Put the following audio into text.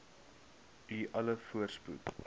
u alle voorspoed